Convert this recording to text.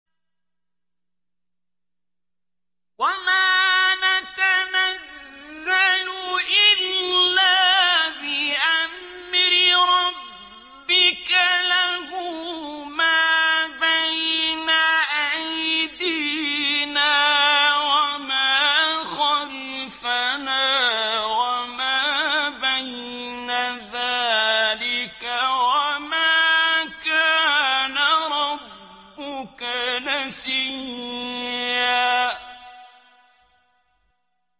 وَمَا نَتَنَزَّلُ إِلَّا بِأَمْرِ رَبِّكَ ۖ لَهُ مَا بَيْنَ أَيْدِينَا وَمَا خَلْفَنَا وَمَا بَيْنَ ذَٰلِكَ ۚ وَمَا كَانَ رَبُّكَ نَسِيًّا